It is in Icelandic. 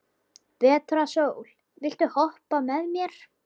Vetrarsól, viltu hoppa með mér?